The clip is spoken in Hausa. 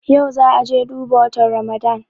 Yau za'a je duba watan Ramadan.